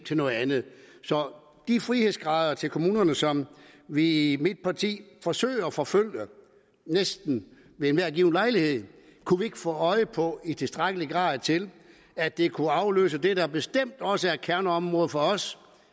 til noget andet så de frihedsgrader til kommunerne som vi i mit parti forsøger at forfølge næsten ved enhver given lejlighed kunne vi ikke få øje på i tilstrækkelig grad til at det kunne afløse det der bestemt også er et kerneområde for os